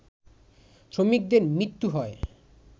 শ্রমিকদের মৃত্যু হয়